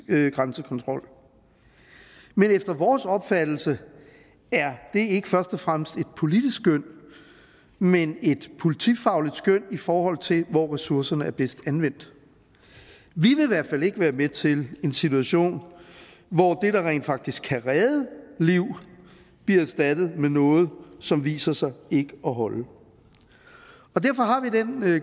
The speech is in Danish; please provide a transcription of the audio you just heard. grænsekontrol men efter vores opfattelse er det ikke først og fremmest et politisk skøn men et politifagligt skøn i forhold til hvor ressourcerne er bedst anvendt vi vil i hvert fald ikke være med til en situation hvor det der rent faktisk kan redde liv bliver erstattet med noget som viser sig ikke at holde og derfor har vi den